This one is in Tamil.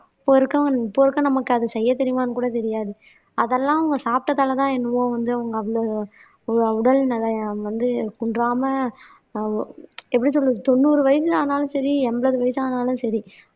அப்ப இருக்கவங்க இப்ப இருக்க நமக்கு அது செய்யத் தெரியுமான்னு கூட தெரியாது. அதெல்லாம் அவங்க சாப்பிட்டதாலதான் என்னவோ வந்து அவங்க அவ்வளவு உடல்நிலை வந்து குன்றாம எப்படி சொல்றது தொண்ணூறு வயசு ஆனாலும் சரி எண்பது வயசு ஆனாலும் சரி